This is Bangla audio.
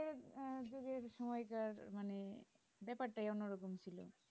আহ সময়টা মানে ব্যাপারটায় অন্য রকম ছিল